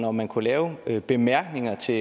om man kunne lave bemærkninger til